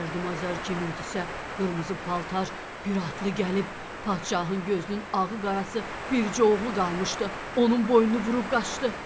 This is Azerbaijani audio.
Mərdüm Azar kimiydisə, qırmızı paltar bir atlı gəlib padşahın gözünün ağı-qarası bircə oğlu qalmışdı, onun boynunu vurub qaçdı.